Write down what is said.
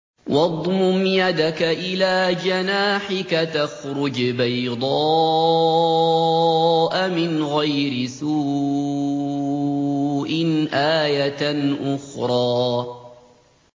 وَاضْمُمْ يَدَكَ إِلَىٰ جَنَاحِكَ تَخْرُجْ بَيْضَاءَ مِنْ غَيْرِ سُوءٍ آيَةً أُخْرَىٰ